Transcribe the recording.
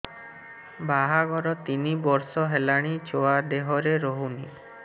ବାହାଘର ତିନି ବର୍ଷ ହେଲାଣି ଛୁଆ ଦେହରେ ରହୁନି